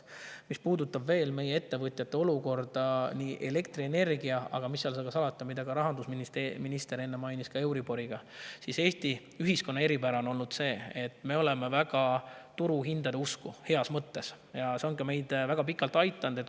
Mis puudutab veel meie ettevõtjate olukorda elektrienergiaga, aga mis seal salata, nagu rahandusminister enne mainis, ka euriboriga, siis Eesti ühiskonna eripära on see, et me oleme väga turuhindade usku, heas mõttes, ja see on meid ka väga pikalt aidanud.